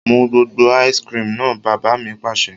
Mu gbogbo "ice cream" náà! Bàbá mi Pàṣẹ.